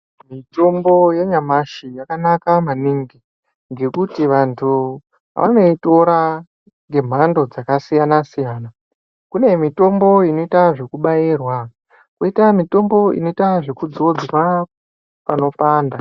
Mitombo ye nyamashi yaka naka maningi ngekuti vantu vanoitora nge mando dzaka siyana siyana kune mitombo inoita zveku bairwa koita mutombo inoitwa kudzodzwa pano panda.